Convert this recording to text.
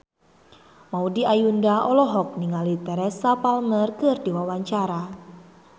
Maudy Ayunda olohok ningali Teresa Palmer keur diwawancara